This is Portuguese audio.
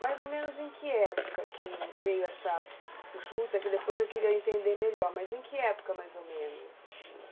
Mais ou menos em que época que veio essa junta, que depois eu queria entender melhor, mas em que época mais ou menos?